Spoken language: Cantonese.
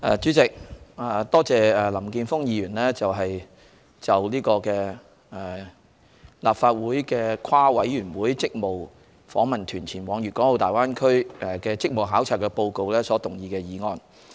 主席，我多謝林健鋒議員就立法會跨事務委員會職務訪問團前往粵港澳大灣區的職務考察報告所動議的議案。